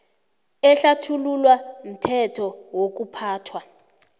ehlathululwa mthetho wokuphathwa